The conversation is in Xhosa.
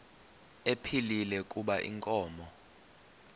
ephilile kuba inkomo